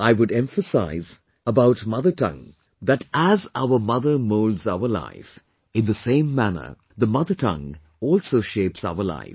I would emphasise about mother tongue that as our mother moulds our life, in the same manner, mother tongue also shapes our life